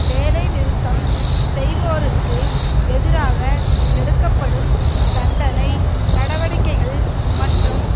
வேலை நிறுத்தம் செய்வோருக்கு எதிராக எடுக்கப்படும் தண்டனை நடவடிக்கைகள் மற்றும்